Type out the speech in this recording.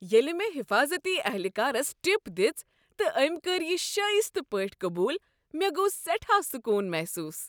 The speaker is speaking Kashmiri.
ییٚلہ مےٚ حفاضتی اہلکارس ٹپ دژ تہٕ أمۍ کٔر یہ شایستہ پٲٹھۍ قبوٗل، مےٚ گوٚو سیٹھا سکون محسوس۔